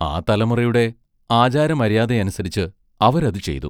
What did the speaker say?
ആ തലമുറയുടെ ആചാരമര്യാദയനുസരിച്ച് അവരതു ചെയ്തു.